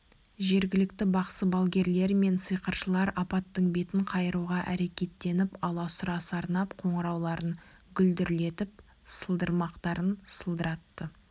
жергілікті бақсы-балгерлер мен сиқыршылар апаттың бетін қайыруға әрекеттеніп аласұра сарнап қоңырауларын гүлдірлетіп сылдырмақтарын сылдыратты